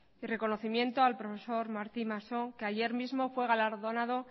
y reconocimiento al profesor martín massó que ayer mismo fue galardonado